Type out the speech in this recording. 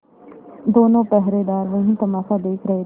दोनों पहरेदार वही तमाशा देख रहे थे